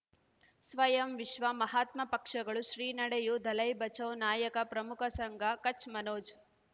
ಸ್ವಯಂ ವಿಶ್ವ ಮಹಾತ್ಮ ಪಕ್ಷಗಳು ಶ್ರೀ ನಡೆಯೂ ದಲೈ ಬಚೌ ನಾಯಕ ಪ್ರಮುಖ ಸಂಘ ಕಚ್ ಮನೋಜ್